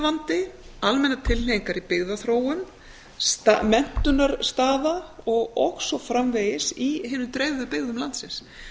atvinnuvandi almennar tilhneigingar í byggðaþróun menntunarstaða og svo framvegis í hinum dreifðu byggðum landsins